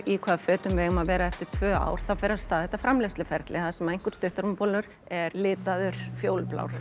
í hvaða fötum við eigum að vera í eftir tvö ár þá fer af stað þetta framleiðsluferli þar sem einhver stuttermabolur er litaður fjólublár